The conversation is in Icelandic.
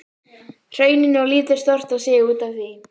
Hrauninu og lítur stórt á sig út af því.